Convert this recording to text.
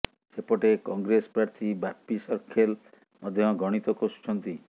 ସେପଟେ କଂଗ୍ରେସ ପ୍ରାର୍ଥୀ ବାପି ସର୍ଖେଲ ମଧ୍ୟ ଗଣିତ କଷୁଛନ୍ତି